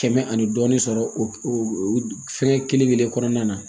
Kɛmɛ ani duuru sɔrɔ fɛn kelen kelen kɔnɔna na